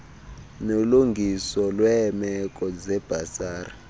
nolungiso lweemeko zebhasari